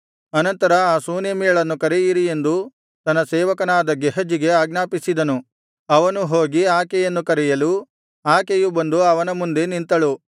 ಅನಂತರ ಆ ಶೂನೇಮ್ಯಳನ್ನು ಕರೆಯಿರಿ ಎಂದು ತನ್ನ ಸೇವಕನಾದ ಗೇಹಜಿಗೆ ಆಜ್ಞಾಪಿಸಿದನು ಅವನು ಹೋಗಿ ಆಕೆಯನ್ನು ಕರೆಯಲು ಆಕೆಯು ಬಂದು ಅವನ ಮುಂದೆ ನಿಂತಳು